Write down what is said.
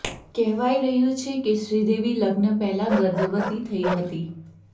કહેવાઇ રહ્યું છે કે શ્રીદેવી લગ્ન પહેલા ગર્ભવતી થઇ હતી